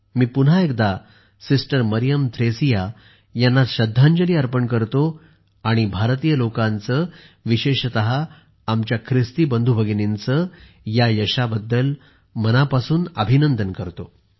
मी पुन्हा एकदा सिस्टर मरियम थ्रेसिया यांना श्रद्धांजली अर्पण करतो आणि भारतीय लोकांचे विशेषतः आमच्या ख्रिस्ती बंधूभगिनींचे या यशाबद्दल मनापासून अभिनंदन करतो